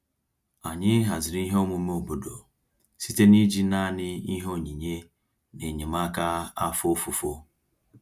Anyị haziri ihe omume obodo site n'iji naanị ihe onyinye na enyemaka afọ ofufo.